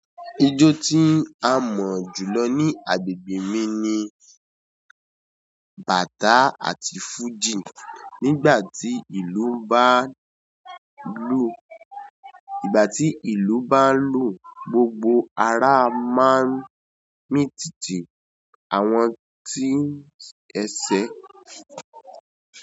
Ijó tí a mọ̀ jù lọ ní agbègbè mi ni bàtá àti fújì. Nígbàtí ìlú bá ń lu gbogbo ara máa ń min títí àwọn tí ẹ̀sẹ́